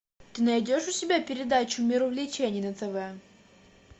ты найдешь у себя передачу мир увлечений на тв